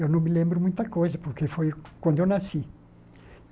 Eu não me lembro muita coisa, porque foi quando eu nasci.